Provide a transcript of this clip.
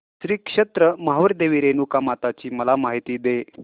श्री क्षेत्र माहूर देवी रेणुकामाता ची मला माहिती दे